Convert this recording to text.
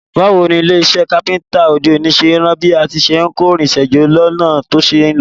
Báwoni ilé isẹ́ Kápẹ́ńtà òde òní ṣe n ran bí a ti n kórinsẹ́ jọ lọ́nà to ṣeé lò